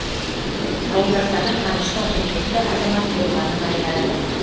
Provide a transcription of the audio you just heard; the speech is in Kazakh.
ауылдастары қаныштың құрметті азамат болғанын айтады